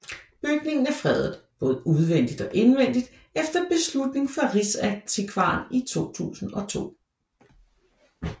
Bygningen er fredet både udvendigt og indvendigt efter beslutning fra Riksantikvaren i 2002